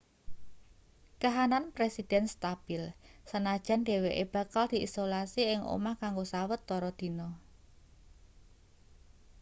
kahanan presiden stabil senajan dheweke bakal diisolasi ing omah kanggo sawetara dina